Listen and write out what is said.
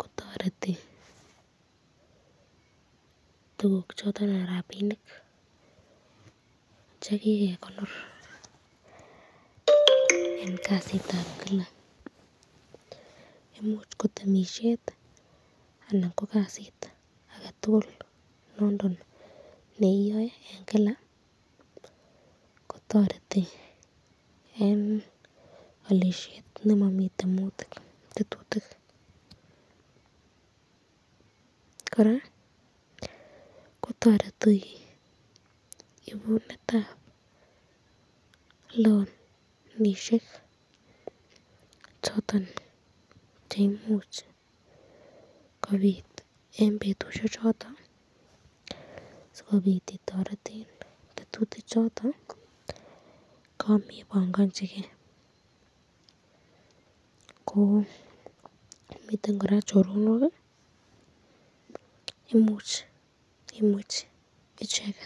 kotoreti tukuk choton anan rapinik chekikekonor eng kasitab Kila imuch ko temisyet anan ko kasit ake tukul nondon neioe eng Kila kotoreti eng alisyet nemami tetutik ,koraa kotareti inunetab lonishek choton cheimuch kobit eng betushek choton sikobit itoreten tetutik choton kamebangachi kee .